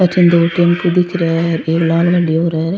पाछे दो तीन तो दिख रेया है एक लाल गड्डी और है।